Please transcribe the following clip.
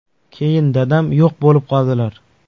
Keyin dadam yo‘q bo‘lib qoldilar.